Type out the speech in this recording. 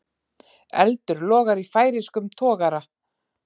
Eldur logar í færeyskum togara